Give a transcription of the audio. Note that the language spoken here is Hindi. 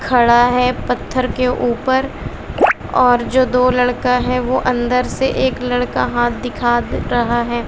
खड़ा है पत्थर के ऊपर और दो जो लड़का है वो अंदर से एक लड़का हाथ दिखा रहा है।